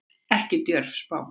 Ekki djörf spá.